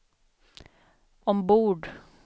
ombord